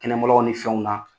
Kɛnɛmaya ni fɛnw na